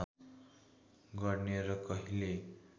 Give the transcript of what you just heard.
गर्ने र कहिल्यै